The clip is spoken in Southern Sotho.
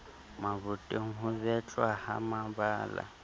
maboteng ho betlwa ha mabala